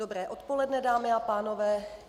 Dobré odpoledne, dámy a pánové.